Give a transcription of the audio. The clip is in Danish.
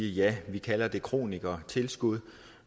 ja vi kalder det kronikertilskud